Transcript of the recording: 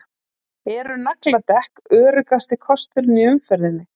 Eru nagladekk öruggasti kosturinn í umferðinni?